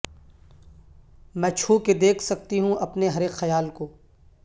میں چھو کے دیکھ سکتی ہوں اپنے ہر اک خیال کو